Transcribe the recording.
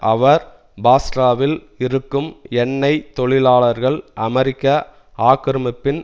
அவர் பாஸ்ராவில் இருக்கும் எண்ணெய் தொழிலாளர்கள் அமெரிக்க ஆக்கிரமிப்பின்